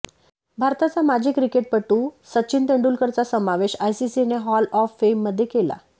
भारताचा माजी क्रिकेटपटू सचिन तेंडुलकरचा समावेश आयसीसीने हॉल ऑफ फेममध्ये केला